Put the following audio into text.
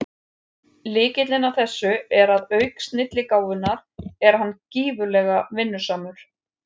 Lykillinn að þessu er að auk snilligáfunnar er hann gífurlega vinnusamur.